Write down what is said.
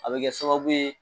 A bɛ kɛ sababu ye